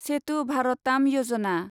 सेटु भारताम यजना